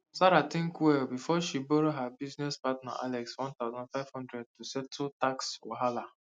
sarah think well before she borrow her business partner alex one thousand five hundred to settle tax wahala